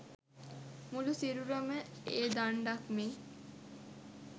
මුළු සිරුරම ඒ දණ්ඩක් මෙන්